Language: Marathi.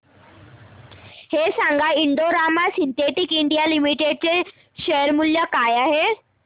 हे सांगा की Indo Rama synthetics India limited चे शेअर मूल्य काय आहे